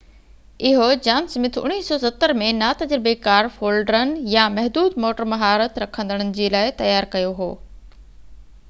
اهو John Smith 1970 ۾ نا تجربيڪار فولڊرن يا محدود موٽر مهارت رکندڙن جي لاءِ تيار ڪيو هو